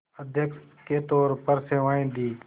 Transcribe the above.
अध्यक्ष के तौर पर सेवाएं दीं